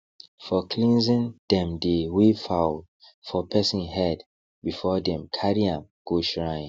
for cleansing dem dey wave fowl for person head before dem carry am go shrine